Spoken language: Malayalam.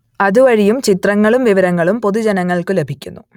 അതുവഴിയും ചിത്രങ്ങളും വിവരങ്ങളും പൊതുജനങ്ങൾക്കു ലഭിക്കുന്നു